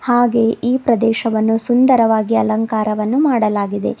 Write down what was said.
ಹಾಗೆ ಈ ಪ್ರದೇಶವನ್ನು ಸುಂದರವಾಗಿ ಅಲಂಕಾರವನ್ನು ಮಾಡಲಾಗಿದೆ.